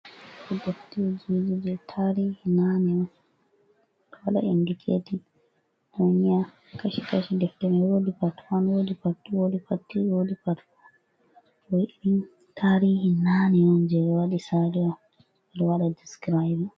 Ɗefte ha jirulɗe, tarihi nane. Ɗo waɗa inɗikatin ennyia kashi kashi. Ɗefte mai woɗi pat wan, woɗi pat thu, woɗi pat tirii, woɗi pat foo. Ɗo irin tarihi nane on, je be waɗi sali on, ɗo waɗa ɗiskiraibin.